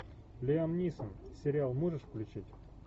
лиам нисон сериал можешь включить